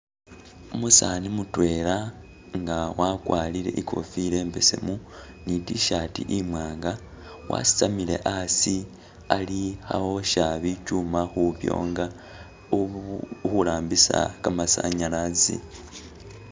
Umusani mutwela nga wakwarire ikofila imbesemu, ni T-shirt imwanga wasitamile asi ali kha osha bikyuma khubyonga uhu- uhu rambisa kamasanyalazi.